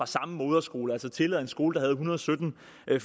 samme moderskole altså tillade en skole med en hundrede og sytten